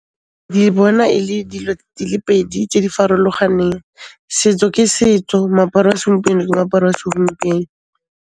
Ke bona e le dilo di le pedi tse di farologaneng. Setso ke setso, moaparo a segompieno ke moaparo wa segompieno.